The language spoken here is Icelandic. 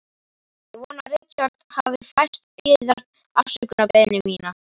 Ég vona að Richard hafi fært yður afsökunarbeiðni mína.